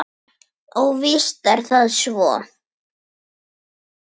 Og víst er það svo.